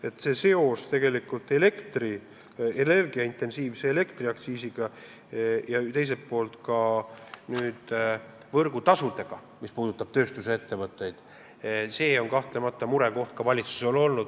Aga seos elektrit intensiivselt kasutavatele tööstusettevõtetele kehtiva elektriaktsiisiga ja teiselt poolt ka võrgutasudega on kahtlemata murekoht ka valitsusele.